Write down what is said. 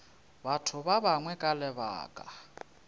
batho ba bangwe ka lebaka